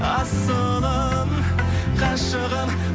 асылым ғашығым